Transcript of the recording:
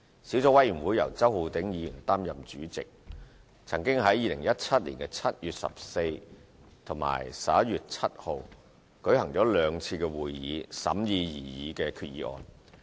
小組委員會由周浩鼎議員擔任主席，曾於2017年7月14日及11月7日舉行兩次會議審議該擬議決議案。